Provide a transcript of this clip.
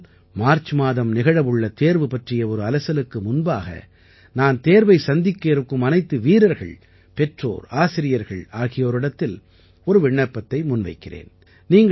ஆனால் மார்ச் மாதம் நிகழவுள்ள தேர்வு பற்றிய ஒரு அலசலுக்கு முன்பாக நான் தேர்வை சந்திக்க இருக்கும் அனைத்து மாணவர்கள் பெற்றோர் ஆசிரியர்கள் ஆகியோரிடத்தில் ஒரு விண்ணப்பத்தை முன்வைக்கிறேன்